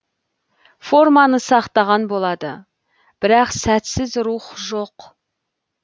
форманы сақтаған болады бірақ сәтсіз рух жоқ